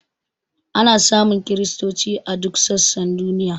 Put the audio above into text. Ana samun kristoci a duk sassan duniya.